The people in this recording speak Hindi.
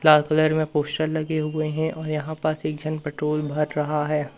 लाल कलर में पोस्टर लगे हुए हैं और यहां पास एक जन पेट्रोल भर रहा हैं।